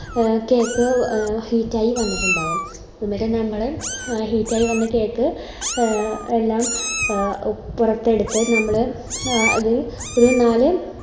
A cake ആയി വന്നിട്ടുണ്ടാവും എന്നിട്ട് നമ്മള് heat ആയി വന്ന cake എല്ലാം പുറത്തെടുത്ത് നമ്മള് അത് ഒരു മാ